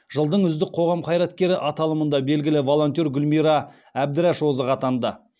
жылдың үздік қоғам қайраткері аталымында белгілі волонтер гүлмира әбдіраш озық атанды